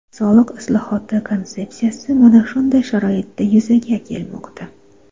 Soliq islohoti konsepsiyasi mana shunday sharoitda yuzaga kelmoqda.